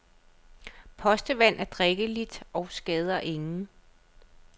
Postevand er drikkeligt og skader ingen.